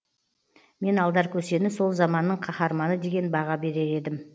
мен алдар көсені сол заманның қаһарманы деген баға берер едім